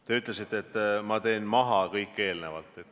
Te ütlesite, et ma teen maha kõik eelnevad.